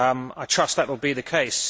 I trust that will be the case.